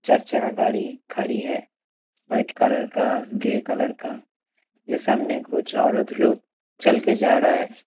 चार चक्का गाड़ी खड़ी है वाइट कलर का ग्रे कलर का ये सामने कुछ औरत लोग चल के जा रहा है।